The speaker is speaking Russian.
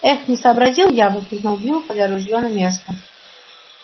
эх не сообразил я воскликнул билл кладя ружьё на место